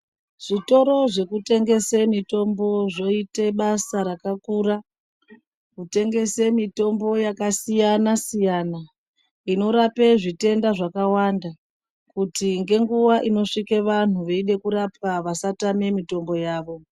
Zvitoro zvekutengese mitombo zvoite basa rakakura, kutengese mitombo yakasiyana-siyana, inorape zvitenda zvakawanda, kuti ngenguva inosvike vanhu veide kurapwa vasatame mitombo yavo.